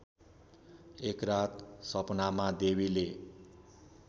एकरात सपनामा देवीले